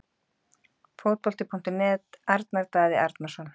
Fótbolti.net- Arnar Daði Arnarsson